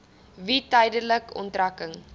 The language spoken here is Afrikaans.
wie tydelike onttrekking